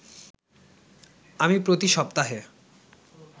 আমি প্রতি সপ্তাহে